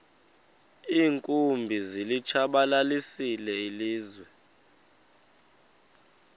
iinkumbi zilitshabalalisile ilizwe